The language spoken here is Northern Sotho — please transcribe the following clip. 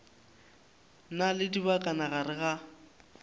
na le dibakana gare ga